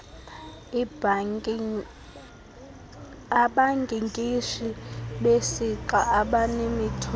abankinkishi besixa abanemithombo